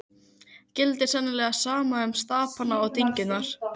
Þórður gellir í Breiðafirði, Þóroddur goði í Ölfusi.